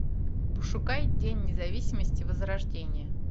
пошукай день независимости возрождение